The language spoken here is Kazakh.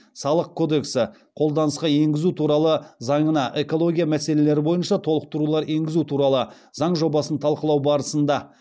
қолданысқа енгізу туралы заңына экология мәселелері бойынша толықтырулар енгізу туралы заң жобасын талқылау барысында